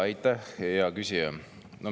Aitäh, hea küsija!